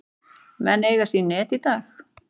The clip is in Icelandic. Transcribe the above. Menn eiga sín net í dag.